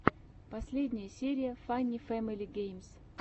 последняя серия фанни фэмили геймс